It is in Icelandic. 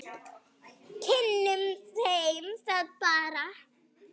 Kynnum þeim það bara.